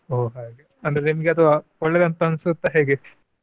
ಓ ಹಾಗೆ ಅಂದ್ರೆ ನಿಮ್ಗೆ ಅದು ಒಳ್ಳೇದು ಅಂತ ಅನ್ಸುತ್ತಾ ಹೇಗೆ?